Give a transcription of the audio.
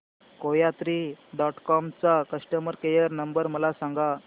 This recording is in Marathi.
कोयात्री डॉट कॉम चा कस्टमर केअर नंबर मला सांगा